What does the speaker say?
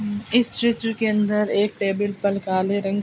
इस चित्र के अंदर एक टेबल पर काले रंग --